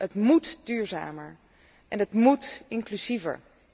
Het moet duurzamer en het moet inclusiever.